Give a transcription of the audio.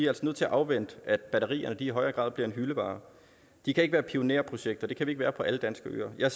altså nødt til at afvente at batterierne i højere grad bliver en hyldevare de kan ikke være pionerprojekter det kan vi ikke være på alle danske øer jeg